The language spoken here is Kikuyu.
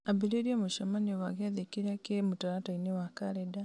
ambĩrĩria mũcemanio wa gĩathĩ kĩrĩa kĩ mũtaratara-inĩ wa kalenda